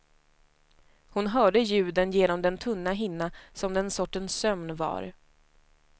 Hon hörde ljuden genom den tunna hinna som den sortens sömn var.